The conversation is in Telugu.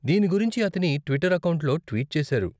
దీని గురించి అతని ట్విట్టర్ అకౌంట్లో ట్వీట్ చేసారు.